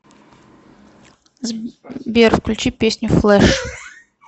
сбер включи песню флеш